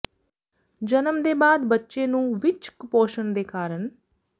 ਜਨਮ ਦੇ ਬਾਅਦ ਬੱਚੇ ਨੂੰ ਵਿਚ ਕੁਪੋਸ਼ਣ ਦੇ ਕਾਰਨ